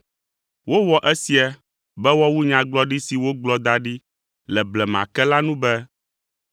Wowɔ esia be woawu nyagblɔɖi si wogblɔ da ɖi le blema ke la nu be,